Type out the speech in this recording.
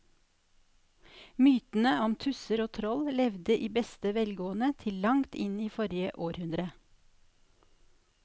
Mytene om tusser og troll levde i beste velgående til langt inn i forrige århundre.